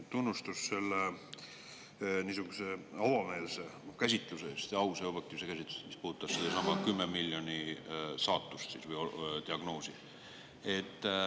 Tunnustus niisuguse avameelse käsitluse eest, ausa ja avatud käsitluse eest, mis puudutas sellesama 10 miljoni saatust või diagnoosi.